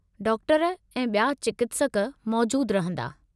Doctor ऐं ॿिया चिकित्सक मौजूदु रहिंदा।